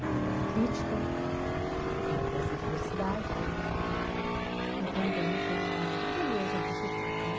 porque tem a crítica da dessa diversidade e também tem a a beleza disso tudo né.